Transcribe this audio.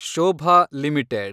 Shobha limited